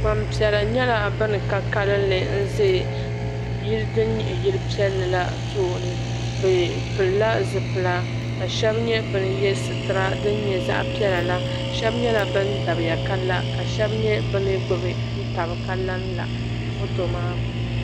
Gbampiɛla nyɛla ban ka kalinli n-za yili din nyɛ yili piɛlli la tooni bɛ pilila zipila ka shɛba nyɛ ba ye sitira din nyɛ zaɣ'piɛla la shɛba nyɛla ban dabiya ka la ka shɛba nyɛ ban gbubi taba ka lanla foto maa puuni.